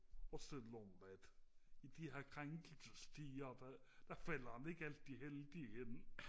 også selvom at i de her krænkelsestider der der falder den ikke altid heldigt ind